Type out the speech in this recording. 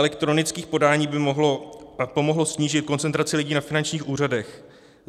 Elektronické podání by pomohlo snížit koncentraci lidí na finančních úřadech.